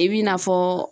I bi na fɔ